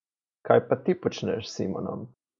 Kaj pa ti počneš s Simonom?